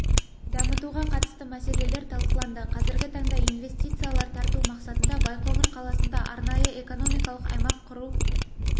дамытуға қатысты мәселелер талқыланды қазіргі таңда инвестициялар тарту мақсатында байқоңыр қаласында арнайы экономикалық аймақ құру